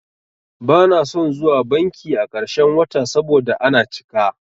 Bana son zuwa banki a ƙarshen wata saboda ana cika.